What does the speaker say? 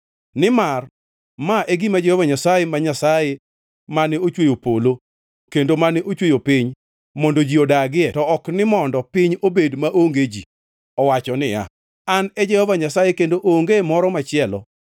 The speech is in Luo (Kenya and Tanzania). Nimar ma e gima Jehova Nyasaye ma Nyasaye mane ochweyo polo, kendo mane ochweyo piny mondo ji odagie to ok ni mondo piny obed maonge ji, owacho niya: “An e Jehova Nyasaye kendo onge moro machielo.